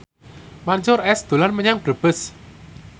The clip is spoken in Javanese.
Mansyur S dolan menyang Brebes